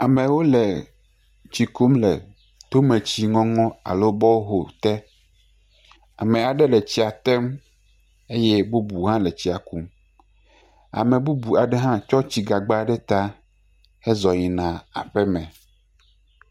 Amewo le tsi kum le tometsinɔnɔ alo bɔhol te, ame aɖe le tsi tem eye bubu hã le tsia kum ame bubu aɖe hã tsɔ tsi gagba ɖe ta heyina aƒe me.